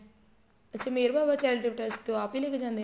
ਫ਼ੇਰ Meher Baba charitable trust ਚ ਉਹ ਆਪ ਹੀ ਲੈਕੇ ਜਾਂਦੇ ਨੇ